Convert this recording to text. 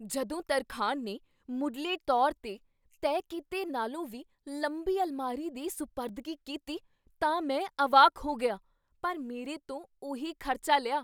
ਜਦੋਂ ਤਰਖਾਣ ਨੇ ਮੁੱਢਲੇ ਤੌਰ 'ਤੇ ਤੈਅ ਕੀਤੇ ਨਾਲੋਂ ਵੀ ਲੰਬੀ ਅਲਮਾਰੀ ਦੀ ਸੁਪਰਦਗੀ ਕੀਤਾ ਤਾਂ ਮੈਂ ਅਵਾਕ ਹੋ ਗਿਆ, ਪਰ ਮੇਰੇ ਤੋਂ ਉਹੀ ਖ਼ਰਚਾ ਲਿਆ।